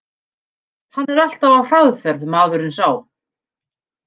Hann er alltaf á hraðferð, maðurinn sá.